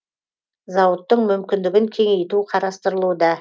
зауыттың мүмкіндігін кеңейту қарастырылуда